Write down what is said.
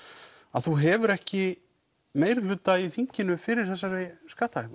að þú hefur ekki meirihluta í þinginu fyrir þessari